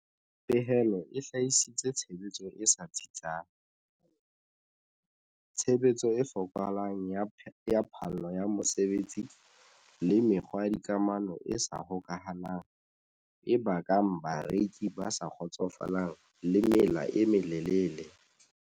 Pehelo e hlahisitse tshebetso e sa tsitsang, tshebetso e fokolang ya phallo ya mosebetsi le mekgwa ya dikamano e sa hokahanang e bakang bareki ba sa kgotsofalang le mela e melelele.